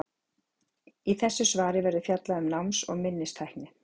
Í þessu svari verður fjallað um náms- og minnistækni.